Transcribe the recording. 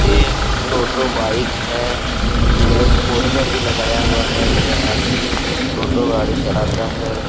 ये टोटो बाइक है एक पोस्टर भी लगाया हुआ है ये आदमी टोटो गाड़ी चलाता है।